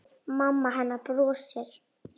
Mamma hennar brosir.